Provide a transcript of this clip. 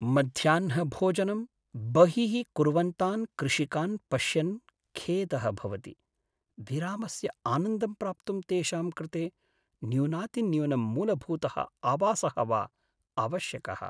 मध्याह्नभोजनं बहिः कुर्वन्तान् कृषिकान् पश्यन् खेदः भवति। विरामस्य आनन्दं प्राप्तुं तेषां कृते न्यूनातिन्यूनं मूलभूतः आवासः वा आवश्यकः।